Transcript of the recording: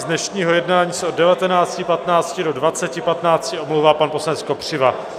Z dnešního jednání se od 19.15 do 20.15 omlouvá pan poslanec Kopřiva.